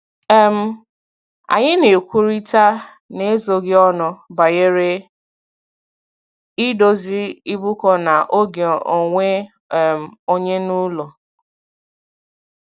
um Anyị na-ekwurịta n'ezoghị ọnụ banyere idozi ịbụkọ na oge onwe um onye n'ụlọ.